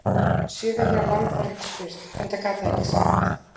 Sjö vikna lamb var ekki spurt, enda gat það ekki svarað.